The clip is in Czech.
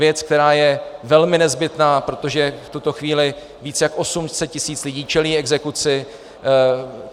Věc, která je velmi nezbytná, protože v tuto chvíli více jak 800 tisíc lidí čelí exekuci.